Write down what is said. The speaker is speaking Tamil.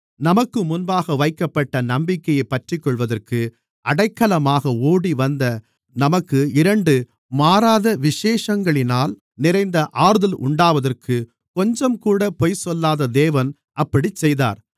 நமக்கு முன்பாக வைக்கப்பட்ட நம்பிக்கையைப் பற்றிக்கொள்வதற்கு அடைக்கலமாக ஓடிவந்த நமக்கு இரண்டு மாறாத விசேஷங்களினால் நிறைந்த ஆறுதல் உண்டாவதற்கு கொஞ்சம்கூட பொய் சொல்லாத தேவன் அப்படிச் செய்தார்